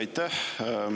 Aitäh!